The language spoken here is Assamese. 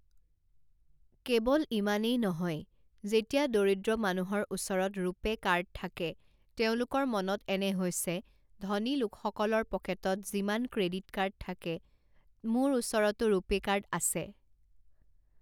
কেৱল ইমানেই নহয়, যেতিয়া দৰিদ্ৰ মানুহৰ ওচৰত ৰূপে কাৰ্ড থাকে, তেওঁলোকৰ মনত এনে হৈছে ধনী লোকসকলৰ পকেটত যিমান ক্ৰে়ডিট কাৰ্ড থাকে, মোৰ ওচৰতো ৰুপে কাৰ্ড আছে।